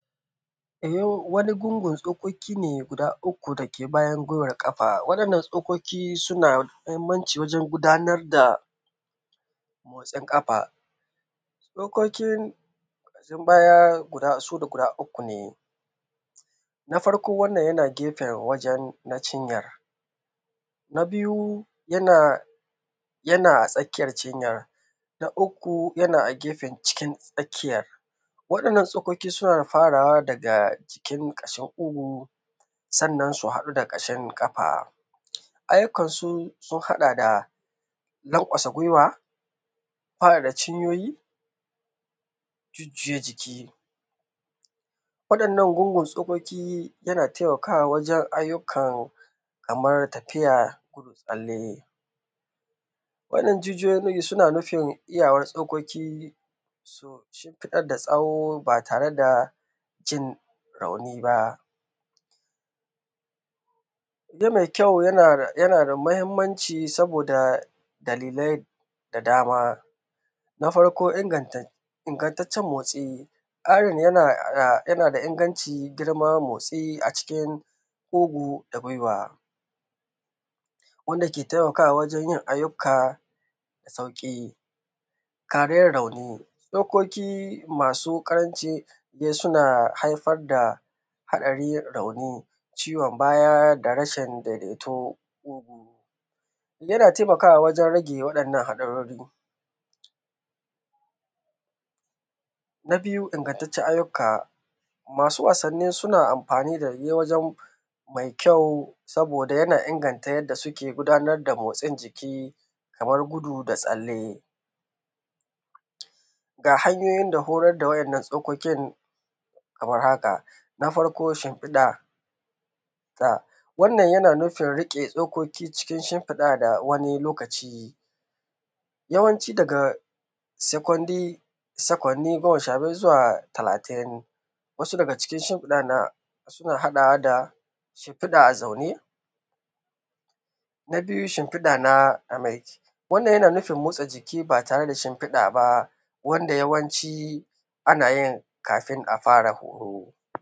... wani gungun tsokoki ne guda uku da ke bayan gwiwar ƙafa. Waɗannan tsokoki suna da muhimmanci wajen gudanar da, motsin ƙafa. Tsokokin da ke bayan su guda uku ne. Na farko wannan yana gefen wajen na cinyar. Na biyu, yana, yana a tsakiyar cinyar. Na uku yana a gefen cikin tsakiyar. Waɗannan tsokoki suna farawa daga jikin ƙashin ƙugu, sannan su haɗu da ƙashin ƙafa. Ayyukansu sun haɗa da, lanƙwasa gwiwa, faɗaɗa cinyoyi, jujjuya jiki. Waɗannan gungun tsokoki yana taimakawa wajen ayyukan, kamar tafiya, tsalle. Waɗannan jijiyoyi suna nufin iyawar tsokoki sun shimfiɗar da tsawo ba tare da jin rauni ba. Waje mai kyau yana da, yana da muhimmanci saboda dalilai, da dama. Na farko inganta, inganttacen motsi. Ƙarin yana da inganci, girma, motsi a iikin ƙugu da gwiwa, wanda ke taimakawa wajen yin ayyuka da sauƙi. Kareyar rauni. Tsokoki masu ƙaranci suna haifar da haɗarin yin rauni, ciwon baya, da rashin daidaito. Yana taimakawa wajen rage waɗannan haɗarori. Na biyu, taƙaitaccen ayyuka.. Masu wasanni suna amfani da waje mai kyau saboda yana inganta yadda suke gudanar da motsin jiki, kamar gudu, da tsalle. Ga hanyoyin da horar da wa`yannan tsokokin, kamar haka: Na farko shimfiɗa. Wannan yana nufin riƙe tsokoki cikin shimfiɗa da wani lokaci, yawanci daga sekwanni, sekwanni goma sha biyar zuwa talatin. Wasu daga cikin shimfiɗar nan, suna haɗawa da, shimfiɗa a zaune. Na biyu shimfiɗa na, na mai jiki. Wannan yana nufin motsa jiki ba tare da shimfiɗa ba, wanda yawanci ana yin kafin a fara horo.